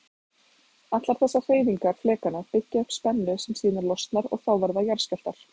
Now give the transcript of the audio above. Allar þessar hreyfingar flekanna byggja upp spennu sem síðan losnar og þá verða jarðskjálftar.